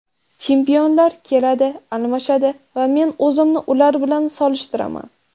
Chempionlar keladi, almashadi va men o‘zimni ular bilan solishtiraman.